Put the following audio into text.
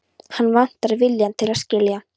Hann vantar viljann til að skilja.